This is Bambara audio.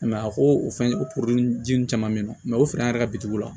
a ko o fɛn o ji nun caman bɛ ye nɔ o fɛnɛ an yɛrɛ ka la